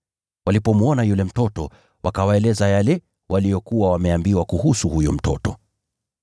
Walipomwona yule mtoto, wakawaeleza yale waliyokuwa wameambiwa kuhusu huyo mtoto.